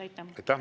Aitäh!